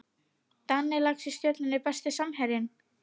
Danni Lax í Stjörnunni Besti samherjinn?